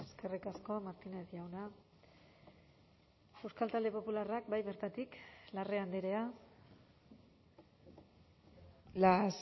eskerrik asko martínez jauna euskal talde popularrak bai bertatik larrea andrea las